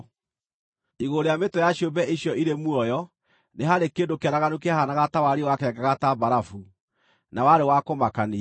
Igũrũ rĩa mĩtwe ya ciũmbe icio irĩ muoyo nĩ haarĩ kĩndũ kĩaraganu kĩahaanaga ta wariĩ wakengaga ta mbarabu, na warĩ wa kũmakania.